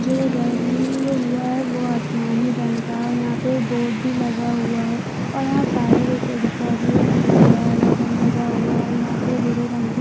जो रंग हुआ है वो आसमानी रंग का है और यहाँ पे बोर्ड भी लगा हुआ है और यहाँ पर भी फायर विकेट का भी जो लगा है यहाँ पर भूरे रंग की--